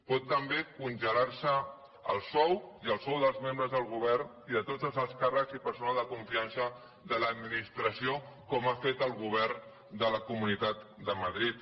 pot també congelar se el sou i el sou dels membres del govern i de tots els alts càrrecs i per sonal de confiança de l’administració com ha fet el govern de la comunitat de madrid